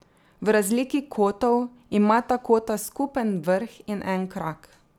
V razliki kotov imata kota skupen vrh in en krak.